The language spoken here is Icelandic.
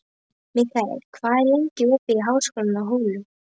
Mikkel, hvað er lengi opið í Háskólanum á Hólum?